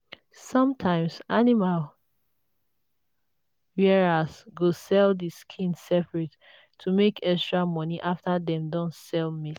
sometimes animal rearers go sell the skin separate to make extra money after dem don sell meat.